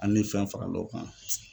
Ani fɛn fara la o kan.